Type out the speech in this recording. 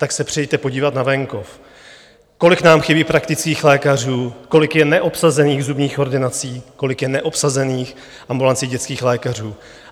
Tak se přijeďte podívat na venkov, kolik nám chybí praktických lékařů, kolik je neobsazených zubních ordinací, kolik je neobsazených ambulancí dětských lékařů.